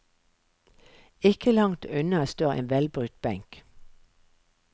Ikke langt unna står en velbrukt benk.